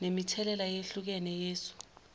ngemithelela eyehlukene yesu